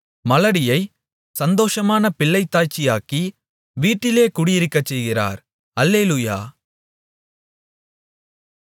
மலடியைச் சந்தோஷமான பிள்ளைத்தாய்ச்சியாக்கி வீட்டிலே குடியிருக்கச்செய்கிறார் அல்லேலூயா